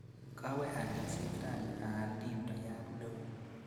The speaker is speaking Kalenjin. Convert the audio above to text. Kawe alishet rani aal dildoyat neoo.